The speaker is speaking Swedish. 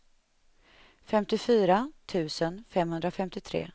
femtiofyra tusen femhundrafemtiotre